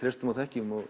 þekkjum og